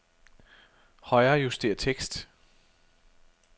Højrejuster tekst.